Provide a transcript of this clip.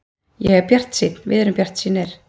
Ég er bjartsýnn, við erum bjartsýnir.